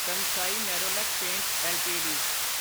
Kansai Nerolac paints LTD